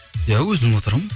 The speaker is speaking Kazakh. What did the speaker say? иә өзім отырамын